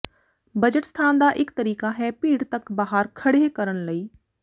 budget ਸਥਾਨ ਦਾ ਇਕ ਤਰੀਕਾ ਹੈ ਭੀੜ ਤੱਕ ਬਾਹਰ ਖੜ੍ਹੇ ਕਰਨ ਲਈ